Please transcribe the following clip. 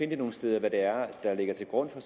det nogen steder hvad det er der ligger til grund for